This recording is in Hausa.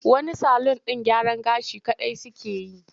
Wani salun ɗin gyaran gashi kaɗai suke yi.